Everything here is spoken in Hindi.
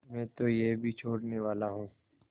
मैं तो यह भी छोड़नेवाला हूँ